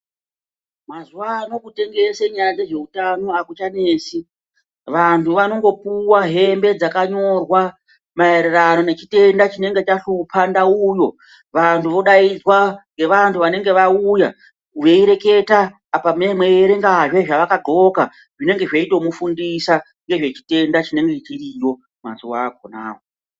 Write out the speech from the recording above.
Mazuva ano kutengese nyaya dze zveutano akuchanesi vanhu vanongo puwa hembe dzaka nyorwa maererano ne chitenda chinenge chashupa ndau yoo vantu vodaidzwa nge vantu vanenge vauya wei reketa apa mei mei erenga hee zva aka ndxoka zvinenge zveitomu fundisa ngezve chitenda chinenge chiriyo mazuva akona awo.